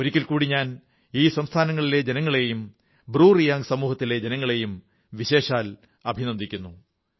ഒരിക്കൽ കൂടി ഞാൻ ഈ സംസ്ഥാനങ്ങളിലെ ജനങ്ങളെയും ബ്രുറിയാംഗ് സമൂഹത്തിലെ ജനങ്ങളെയും വിശേഷാൽ അഭിനന്ദിക്കുന്നു